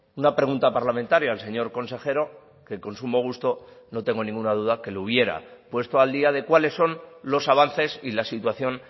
una pregunta parlamentaria al señor consejero que con sumo gusto no tengo ninguna duda que le hubiera puesto al día de cuáles son los avances y la situación